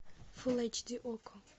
фулл эйч ди окко